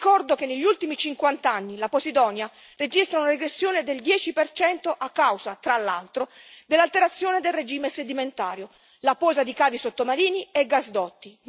Ricordo che, negli ultimi cinquant'anni, la Posidonia ha registrato una regressione del 10 a causa, tra l'altro, dell'alterazione del regime sedimentario, la posa di cavi sottomarini e gasdotti.